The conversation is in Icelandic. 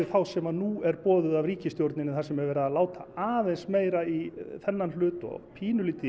þá sem nú er boðuð af ríkisstjórninni þar sem er verið að láta aðeins meira í þennan hlut og pínulítið